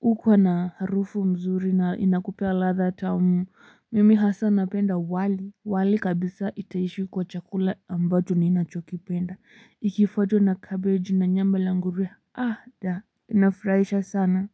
hukuwa na harufu mzuri na inakupea ladha tamu. Mimi hasa napenda wali. Wali kabisa itaishi kuwa chakula ambacho ninachokipenda ikifuatwa na cabbage na nyama la ngurue, ah da, inafurahisha sana.